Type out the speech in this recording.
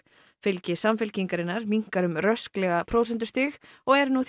fylgi Samfylkingarinnar minnkar um rösklega prósentustig og er nú